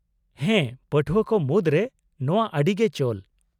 -ᱦᱮᱸ ᱯᱟᱹᱴᱷᱩᱣᱟᱹ ᱠᱚ ᱢᱩᱫᱨᱮ ᱱᱚᱶᱟ ᱟᱹᱰᱤ ᱜᱮ ᱪᱚᱞ ᱾